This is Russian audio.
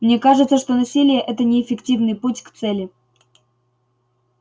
мне кажется что насилие это неэффективный путь к цели